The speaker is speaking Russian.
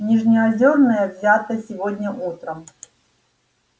нижнеозёрная взята сегодня утром